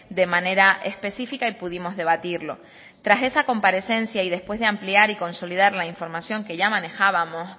de manera específica y pudimos debatirlo tras esa comparecencia y después de ampliar y consolidar la información que ya manejábamos